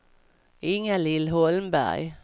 Ingalill Holmberg